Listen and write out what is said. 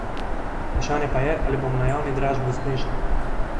Vprašanje pa je, ali bomo na javni dražbi uspešni.